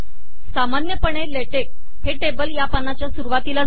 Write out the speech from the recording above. सामान्यपणे लेटेक हे टेबल या पानाच्या सुरुवातीला देते